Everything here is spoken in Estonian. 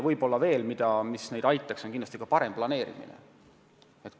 Kindlasti oleks neil abi paremast planeerimisest.